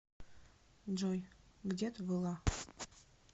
джой где ты была